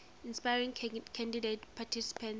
inspiring candidate participants